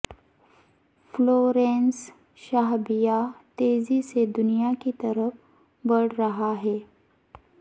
Florence شہابیہ تیزی سے دنیا کی طرف بڑھ رہا ہے